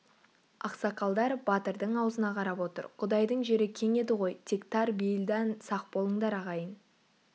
ақсақалдар батырдың аузына қарап отыр құдайдың жері кең еді ғой тек тар бейілдан сақ болыңдар ағайын